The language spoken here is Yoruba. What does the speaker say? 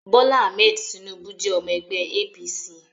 Bola Ahmed Tinubu jẹ́ ọmọ ẹgbẹ́ APC